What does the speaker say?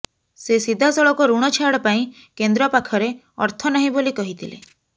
ସେ ସିଧାସଳଖ ଋଣ ଛାଡ଼ ପାଇଁ କେନ୍ଦ୍ର ପାଖରେ ଅର୍ଥ ନାହିଁ ବୋଲି କହିଥିଲେ